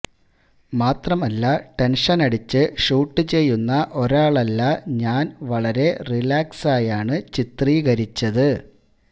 മാത്രമല്ല ടെന്ഷനടിച്ച് ഷൂട്ട് ചെയ്യുന്ന ഒരാളല്ല ഞാന് വളരെ റിലാക്സായാണ് ചിത്രീകരിച്ചത്